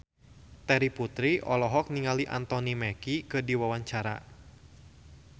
Terry Putri olohok ningali Anthony Mackie keur diwawancara